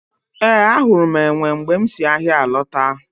Ee, ahụrụ m enwe mgbe m si ahịa lọta